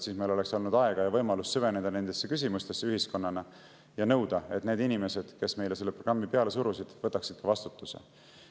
Siis meil oleks olnud aega ja võimalust süveneda ühiskonnana nendesse küsimustesse ja nõuda, et need inimesed, kes meile seda programmi peale surusid, võtaksid vastutuse.